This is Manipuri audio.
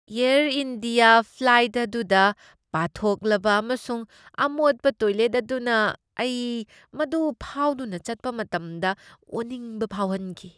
ꯑꯦꯌꯔ ꯏꯟꯗꯤꯌꯥ ꯐ꯭ꯂꯥꯏꯠ ꯑꯗꯨꯗ ꯄꯥꯊꯣꯛꯂꯕ ꯑꯃꯁꯨꯡ ꯑꯃꯣꯠꯄ ꯇꯣꯏꯂꯦꯠ ꯑꯗꯨꯅ ꯑꯩ ꯃꯗꯨ ꯐꯥꯎꯗꯨꯅ ꯆꯠꯄ ꯃꯇꯝꯗ ꯑꯣꯅꯤꯡꯕ ꯐꯥꯎꯍꯟꯈꯤ꯫